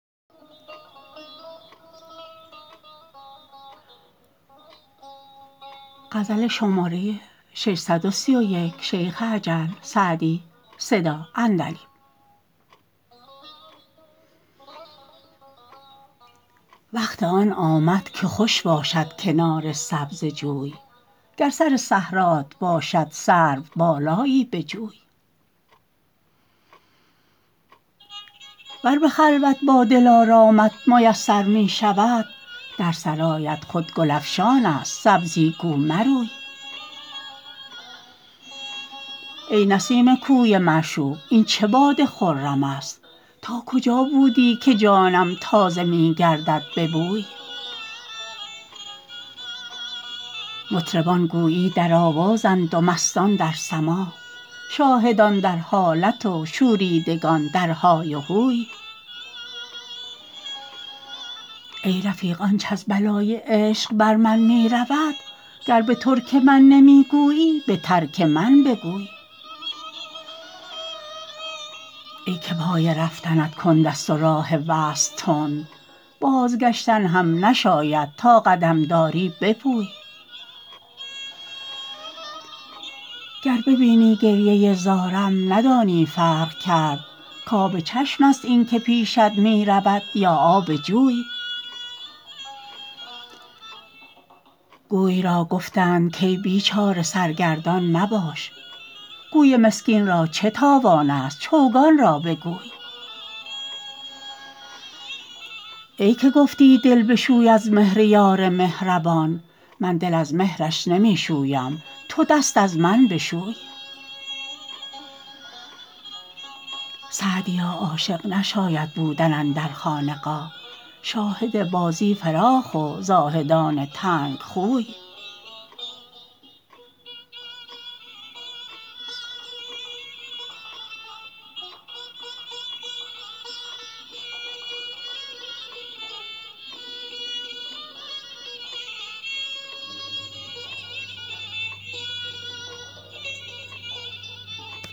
وقت آن آمد که خوش باشد کنار سبزه جوی گر سر صحرات باشد سروبالایی بجوی ور به خلوت با دلارامت میسر می شود در سرایت خود گل افشان است سبزی گو مروی ای نسیم کوی معشوق این چه باد خرم است تا کجا بودی که جانم تازه می گردد به بوی مطربان گویی در آوازند و مستان در سماع شاهدان در حالت و شوریدگان در های و هوی ای رفیق آنچ از بلای عشق بر من می رود گر به ترک من نمی گویی به ترک من بگوی ای که پای رفتنت کند است و راه وصل تند بازگشتن هم نشاید تا قدم داری بپوی گر ببینی گریه زارم ندانی فرق کرد کآب چشم است این که پیشت می رود یا آب جوی گوی را گفتند کای بیچاره سرگردان مباش گوی مسکین را چه تاوان است چوگان را بگوی ای که گفتی دل بشوی از مهر یار مهربان من دل از مهرش نمی شویم تو دست از من بشوی سعدیا عاشق نشاید بودن اندر خانقاه شاهد بازی فراخ و زاهدان تنگ خوی